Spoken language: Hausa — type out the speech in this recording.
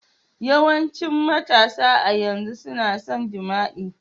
Yawancin matasa a yanzu suna son jima'i.